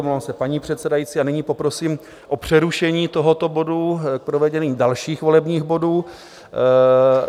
Omlouvám se, paní předsedající, a nyní poprosím o přerušení tohoto bodu k provedení dalších volebních bodů.